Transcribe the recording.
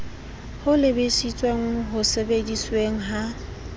ho lebisitseng ho sebedisweng ha